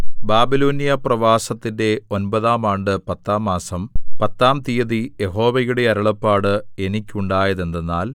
ബാബിലോന്യ പ്രവാസത്തിന്റെ ഒമ്പതാം ആണ്ട് പത്താം മാസം പത്താം തീയതി യഹോവയുടെ അരുളപ്പാട് എനിക്കുണ്ടായത് എന്തെന്നാൽ